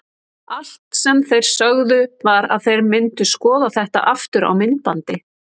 Allt sem þeir sögðu var að þeir myndu skoða þetta aftur á myndbandi.